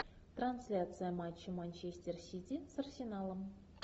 трансляция матча манчестер сити с арсеналом